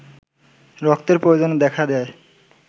রক্তের প্রয়োজন দেখা দেয়ায়